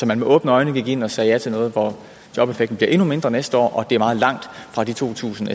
man med åbne øjne gik ind og sagde ja til noget hvor jobeffekten bliver endnu mindre næste år og er meget langt fra de to tusind